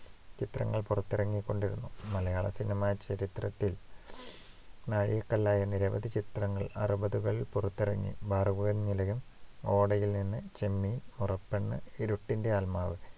ചിത്രങ്ങള്‍ പുറത്തിറങ്ങിക്കൊണ്ടിരുന്നു. മലയാള സിനിമാ ചരിത്രത്തിൽ നാഴികക്കല്ലുകളായ നിരവധി ചിത്രങ്ങൾ അറുപതുകളിൽ പുറത്തിറങ്ങി. ഭാർഗവീനിലയം, ഓടയിൽ നിന്ന്, ചെമ്മീൻ, മുറപ്പെണ്ണ്, ഇരുട്ടിന്റെ ആത്മാവ്